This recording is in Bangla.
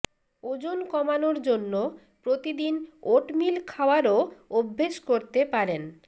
ওজন কমানোর জন্য প্রতিদিন ওটমিল খাওয়ারও অভ্যেস করতে পারেন